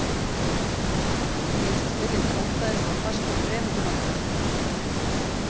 En eins og spyrjandi óttaðist var fastinn fremur til vandræða.